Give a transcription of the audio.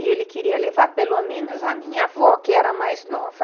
E ele queria levar pelo menos a minha avó, que era a mais nova.